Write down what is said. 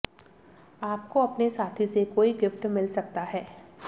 आपको अपने साथी से कोई गिफ्ट मिल सकता है